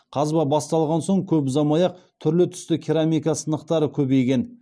қазба басталған соң көп ұзамай ақ түрлі түсті керамика сынықтары көбейген